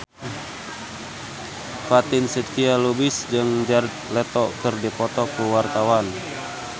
Fatin Shidqia Lubis jeung Jared Leto keur dipoto ku wartawan